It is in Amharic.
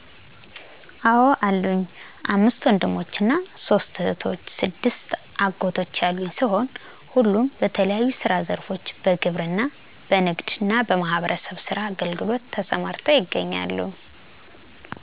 አዎ አሉኝ፣ አምስት ወንድሞችና ሦስት እህቶች፣ ስድስት አጎቶች ያሉኝ ሲሆን ሁሉም በተለያዩ የስራ ዘርፎች በግብርና፣ በንግድና በማህበረሰብ አገልግሎት ተሰማርተው ይገኛሉ።